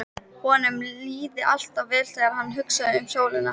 Honum líði alltaf vel þegar hann hugsi um sólina.